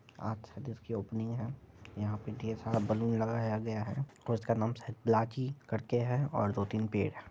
आज शायद इसकी ओपनिंग है यहां पे ढेर सारा बैलून लगाया गया है और इसका नाम शायद ब्लैकी करके है और दो तीन पेड़ है।